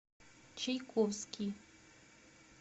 чайковский